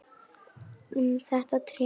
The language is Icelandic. Um þetta tré.